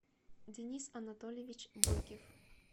денис анатольевич бойкев